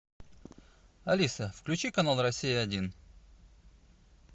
алиса включи канал россия один